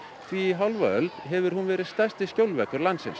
því í hálfa öld hefur hún verið stærsti skjólveggur landsins